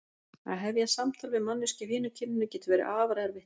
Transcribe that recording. Að hefja samtal við manneskju af hinu kyninu getur verið afar erfitt.